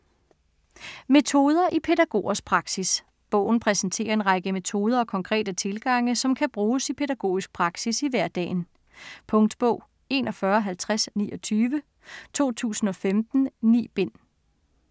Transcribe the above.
Metoder i pædagogers praksis Bogen præsenterer en række metoder og konkrete tilgange, som kan bruges i pædagogisk praksis i hverdagen. Punktbog 415029 2015. 9 bind.